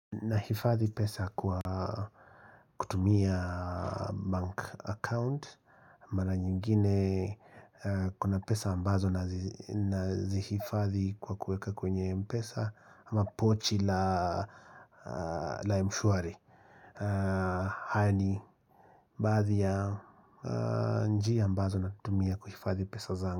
Nahifadhi pesa kwa kutumia bank account Mara nyingine kuna pesa ambazo nzihifadhi kwa kuweka kwenye mpesa ama pochi la mshwari Hata ni baadhi ya njia ambazo natumia kuhifadhi pesa zanga.